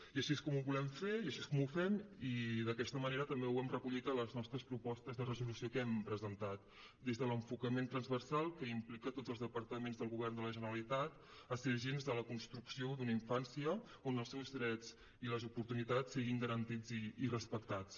i així és com ho volem fer i així és com ho fem i d’aquesta manera també ho hem recollit a les nostres propostes de resolució que hem presentat des de l’enfocament transversal que implica tots els departaments del govern de la generalitat a ser agents de la construcció d’una infància on els seus drets i les oportunitats siguin garantits i respectats